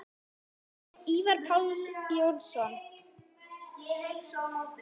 Ívar Páll Jónsson